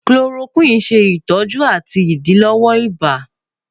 Chloroquine ṣe itọju ati idilọwọ ibà.